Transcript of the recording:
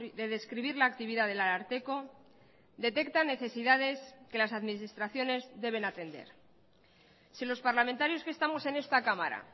de describir la actividad del ararteko detecta necesidades que las administraciones deben atender si los parlamentarios que estamos en esta cámara